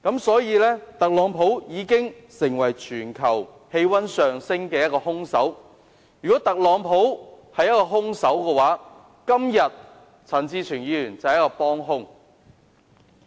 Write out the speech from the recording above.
所以，特朗普已經成為全球氣溫上升的兇手。如果特朗普是兇手，陳志全議員便是幫兇。